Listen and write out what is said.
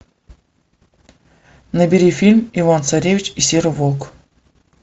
набери фильм иван царевич и серый волк